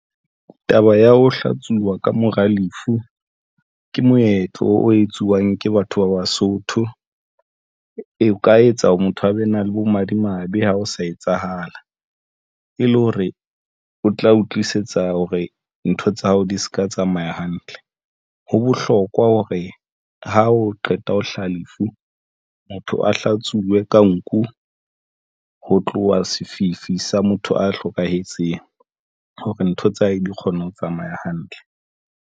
Taba ya ho hlatsuwa ka mora lefu ke moetlo o etsuwang ke batho ba Basotho. O ka etsa hore motho a be na le bomadimabe ha o sa etsahala e le hore o tla utlwisisa hore ntho tsa hao di seka tsamaya hantle ho bohlokwa hore ha o qeta ho hlaha lefu. Motho a hlatsuwe ka nku ho tloha sefifi sa motho a hlokahetseng hore ntho tsa hae di kgone ho tsamaya hantle.